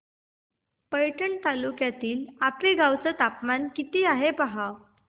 पैठण तालुक्यातील आपेगाव चं तापमान किती आहे पहा